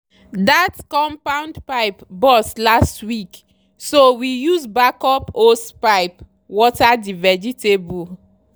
that compound pipe burst last week so we use backup hosepipe water the vegetables.